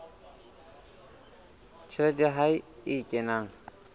tjhelete ya hae e kenang